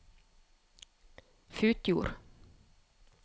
Futjord